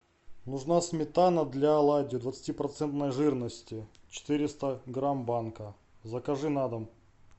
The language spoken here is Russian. нужна сметана для оладий двадцати процентной жирности четыреста грамм банка закажи на дом